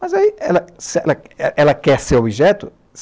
Mas aí, ela se ela ela quer ser objeto?